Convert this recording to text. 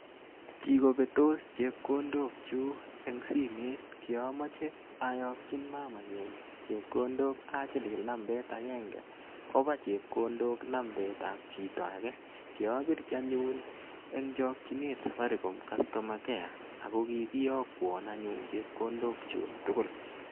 Kikobetos chepkondokyuk en simet kiomoche oyokyi mamanyun chepkondok achilili nambet agenge koba chepkondok nambetab chito age. Kiopirchi anyun en chokchinet Safaricom Customer Care ago kikiyokwon chepkondokyuk tugul.